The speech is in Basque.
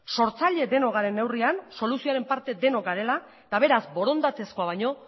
sortzaile denok garen neurrian soluzioaren parte denok garela eta beraz borondatezkoa baino